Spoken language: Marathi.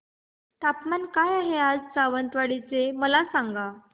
तापमान काय आहे सावंतवाडी चे मला सांगा